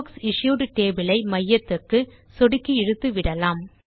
புக்சிஷ்யூட் table ஐ மையத்துக்கு சொடுக்கி இழுத்து விடலாம்